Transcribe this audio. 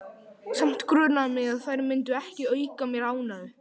Samt grunaði mig að þær myndu ekki auka mér ánægju.